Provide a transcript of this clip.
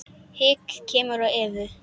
Hik kemur á Evu.